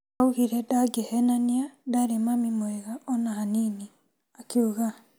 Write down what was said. Augire ndangĩhenania ndarĩ mami mwega ona hanini. akiuga.